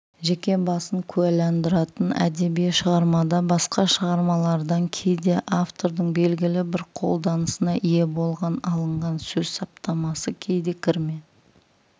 жеке басын куәландыратын әдеби шығармада басқа шығармалардан кейде автордың белгілі бір қолданысына ие болған алынған сөз саптамасы кейде кірме